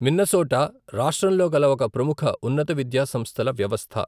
Minnesota రాష్ట్రంలో కల ఒక ప్రముఖ ఉన్నత విద్యా సంస్థల వ్యవస్థ.